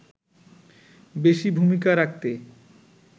বেশি ভূমিকা রাখতে